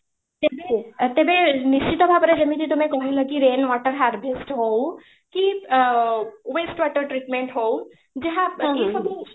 ତେବେ , ତେବେ ନିଶ୍ଚିତ ଭାବରେ ଯେମିତି ତମେ କହିଲ କି rain water harvest ହଉ କି ଅ waste water treatment ହଉ ଯାହା କହିଲେ